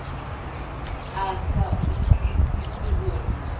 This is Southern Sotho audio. a sa utlwusise ho re